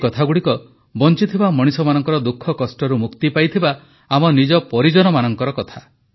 ଏଇ କଥାଗୁଡ଼ିକ ବଂଚିଥିବା ମଣିଷମାନଙ୍କର ଦୁଃଖକଷ୍ଟରୁ ମୁକ୍ତି ପାଇଥିବା ଆମ ନିଜ ପରିଜନମାନଙ୍କର କଥା